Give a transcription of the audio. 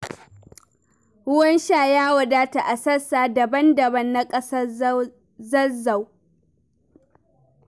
Ruwan sha ya wadata a sassa daban-daban na ƙasar Zazzau.